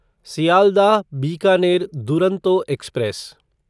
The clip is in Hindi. सियालदाह बीकानेर दुरंतो एक्सप्रेस